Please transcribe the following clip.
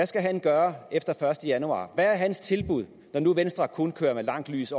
skal gøre efter den første januar hvad er hans tilbud når nu venstre kun kører med langt lys